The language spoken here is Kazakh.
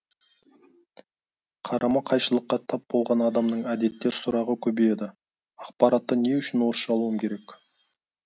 қарама қайшылыққа тап болған адамның әдетте сұрағы көбейеді ақпаратты не үшін орысша алуым керек